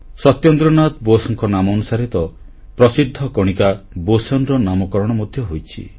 ସତ୍ୟେନ୍ଦ୍ରନାଥ ବୋଷଙ୍କ ନାମାନୁସାରେ ତ ପ୍ରସିଦ୍ଧ କଣିକା ବୋସୋନ୍ ର ନାମକରଣ ମଧ୍ୟ ହୋଇଛି